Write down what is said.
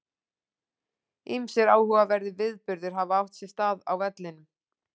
Ýmsir áhugaverðir viðburðir hafa átt sér stað á vellinum.